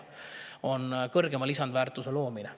on kõrgema lisandväärtuse loomine.